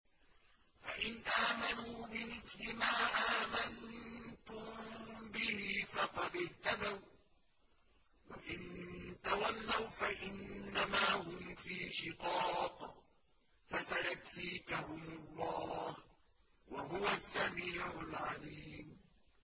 فَإِنْ آمَنُوا بِمِثْلِ مَا آمَنتُم بِهِ فَقَدِ اهْتَدَوا ۖ وَّإِن تَوَلَّوْا فَإِنَّمَا هُمْ فِي شِقَاقٍ ۖ فَسَيَكْفِيكَهُمُ اللَّهُ ۚ وَهُوَ السَّمِيعُ الْعَلِيمُ